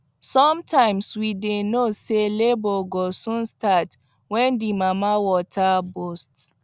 sometimes we dy know say labour go soon start when the mama water burst